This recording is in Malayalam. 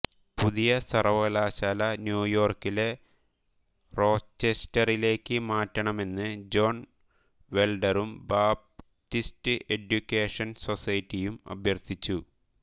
പുതിയ സർവകലാശാല ന്യൂയോർക്കിലെ റോച്ചെസ്റ്ററിലേക്ക് മാറ്റണമെന്ന് ജോൺ വൈൽഡറും ബാപ്റ്റിസ്റ്റ് എഡ്യൂക്കേഷൻ സൊസൈറ്റിയും അഭ്യർത്ഥിച്ചു